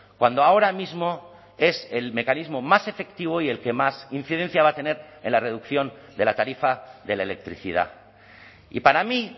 cuando ahora mismo es el mecanismo más efectivo y el que más incidencia va a tener en la reducción de la tarifa de la electricidad y para mí